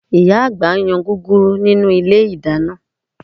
Ìyá àgbà ń yan gúgúrú nínú ilé ìdáná